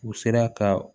U sera ka